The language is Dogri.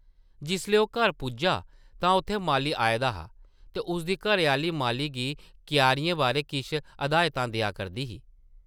जिसलै ओह् घर पुज्जा तां उत्थै माली आए दा हा ते उसदी घरै-आह्ली माली गी क्यारियें बारै किश हदायतां देआ करदी ही ।